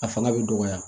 A fanga bɛ dɔgɔya